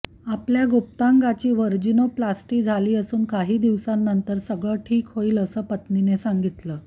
आपल्या गुप्तांगाची व्हर्जिनोप्लास्टी झाली असून काही दिवसानंतर सगळं ठीक होईल असं पत्नीने सांगितलं